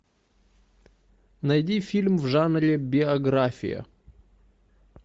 найди фильм в жанре биография